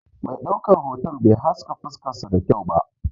Mai ɗaukar hoto bai haska fuskar su da kyau ba.